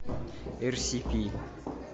эр си пи